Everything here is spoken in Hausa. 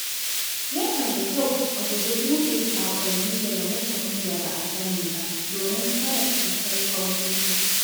Yana da kyau a guji buɗe saƙonni daga mutane da ba a sani ba domin hana cutar kwamfuta.